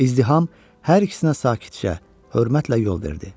İzdiham hər ikisinə sakitcə hörmətlə yol verdi.